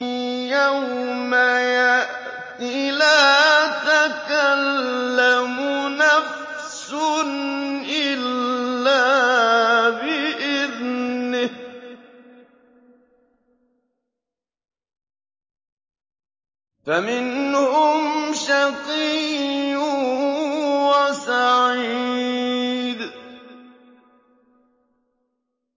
يَوْمَ يَأْتِ لَا تَكَلَّمُ نَفْسٌ إِلَّا بِإِذْنِهِ ۚ فَمِنْهُمْ شَقِيٌّ وَسَعِيدٌ